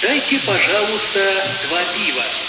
дайте пожалуйста два пива